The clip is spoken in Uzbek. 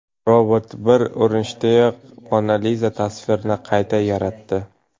Robot bir urinishdayoq Mona Liza tasvirini qayta yaratdi .